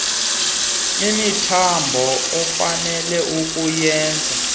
imithambo ofanele kukuyenza